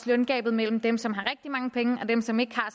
løngabet mellem dem som har rigtig mange penge og dem som ikke har